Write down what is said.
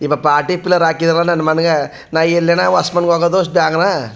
ಇವಾ party pillar ಹಾಕಿನವ್ ನನ್ನ ಮನೆಗೆ ನಾ ಎಲ್ಲಾನ ಹೊಸ್ ಮನಿ ಹೋಗೋದು ಅಷ್ಟ್ ಬೇಗ್ನೆ .